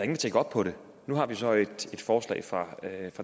der tjekker op på det nu har vi så et forslag fra